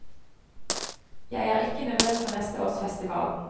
Jer er ikke nervøs for neste års festival.